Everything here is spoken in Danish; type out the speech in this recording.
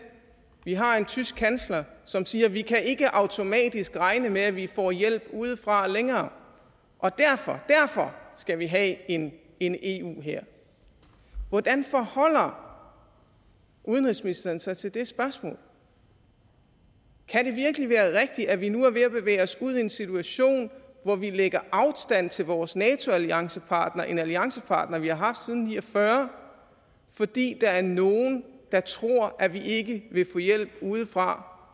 vi har en tysk kansler som siger at vi ikke automatisk kan regne med at vi får hjælp udefra længere og derfor skal vi have en en eu hær hvordan forholder udenrigsministeren sig til det spørgsmål kan det virkelig være rigtigt at vi nu er ved at bevæge os ud i en situation hvor vi lægger afstand til vores nato alliancepartner en alliancepartner vi har haft siden nitten ni og fyrre fordi der er nogle der tror at vi ikke vil få hjælp udefra